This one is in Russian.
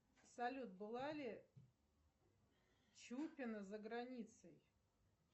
салют была ли чупина за границей